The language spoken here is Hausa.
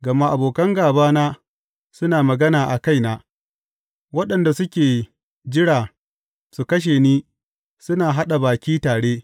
Gama abokan gābana suna magana a kaina; waɗanda suke jira su kashe ni suna haɗa baki tare.